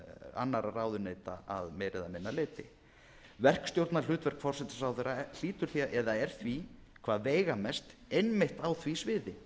annarra ráðuneyta að meira eða minna leyti verkstjórnarhlutverk forsætisráðherra er því hvað veigamest einmitt á því sviði